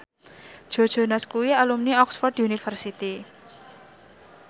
Joe Jonas kuwi alumni Oxford university